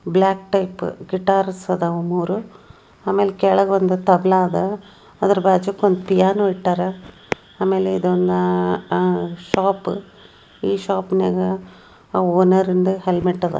Guitar ಸ್ಟಾಲರ್ ಇಲ್ಲಿ red yellow ಅಂತ ಬ್ಲಾಕ್ ಟೈಪ್ ಗೈಟರ್ ಇದಾವ ಮೂರೂ ಆಮೇಲೆ ಕೆಳಗೆ ಒಂದು ತಬಲಾ ಇದೆ ಅದರ ಬಾಜು ಒಂದು ಪಿಯಾನೋ ಇಟ್ಟಿದ್ದಾರೆ ಆಮೇಲೆ ಇದೊಂದು ಶಾಪ್ ಈ ಶೋಪ್ನಲ್ಲಿ ಓನರ್ ನ ಹೆಲ್ಮೆಟ್ ಇದೆ.